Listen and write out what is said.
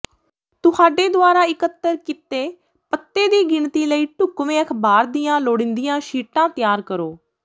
ਤੁਹਾਡੇ ਦੁਆਰਾ ਇਕੱਤਰ ਕੀਤੇ ਪੱਤੇ ਦੀ ਗਿਣਤੀ ਲਈ ਢੁਕਵੇਂ ਅਖ਼ਬਾਰ ਦੀਆਂ ਲੋੜੀਂਦੀਆਂ ਸ਼ੀਟਾਂ ਤਿਆਰ ਕਰੋ